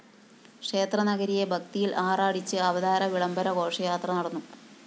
ക്ഷേത്ര നഗരിയെ ഭക്തിയില്‍ ആറാടിച്ച് അവതാര വിളംബര ഘോഷയാത്ര നടന്നു